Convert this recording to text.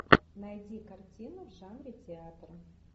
найди картину в жанре театр